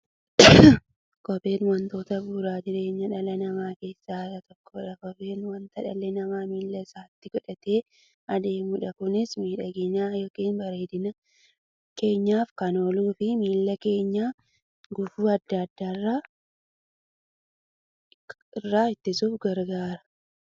Kopheen wantoota bu'uura jireenya dhala namaa keessaa isa tokkodha. Kopheen wanta dhalli namaa miilla isaatti godhatee deemudha. Kunis miidhagani yookiin bareedina keenyaf kan ooluufi miilla keenya gufuu adda addaa irraa ittisuuf gargaara.